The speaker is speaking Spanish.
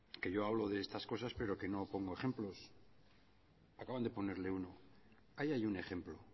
que yo hablo de estas cosas pero que no pongo ejemplos acaban de ponerle uno ahí hay un ejemplo